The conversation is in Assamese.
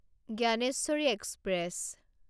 জ্ঞানেশ্বৰী এক্সপ্ৰেছ